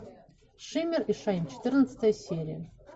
шиммер и шайн четырнадцатая серия